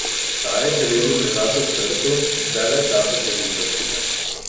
Ta je Heleni prirasel k srcu in vse več časa preživita skupaj.